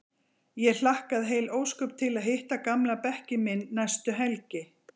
Ég hlakkaði heil ósköp til að hitta gamla bekkinn minn næstu helgi.